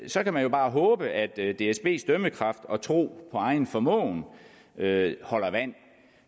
så kan man bare håbe at dsbs dømmekraft og tro på egen formåen holder vand